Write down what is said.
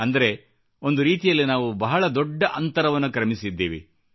ಅಂದರೆ ಒಂದು ರೀತಿಯಲ್ಲಿ ನಾವು ಬಹುದೊಡ್ಡ ಅಂತರವನ್ನು ಕ್ರಮಿಸಿದ್ದೇವೆ